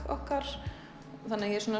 okkar þannig að ég er